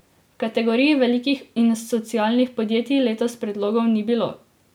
V kategoriji velikih in socialnih podjetij letos predlogov ni bilo.